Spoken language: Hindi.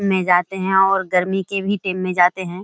में जाते है और गर्मी के भी दिन में भी जाते है।